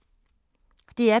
DR P2